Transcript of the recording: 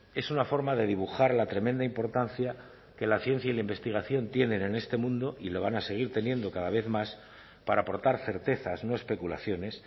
es una forma de dibujar la tremenda importancia que la ciencia y la investigación tienen en este mundo y lo van a seguir teniendo cada vez más para aportar certezas no especulaciones